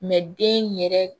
den yɛrɛ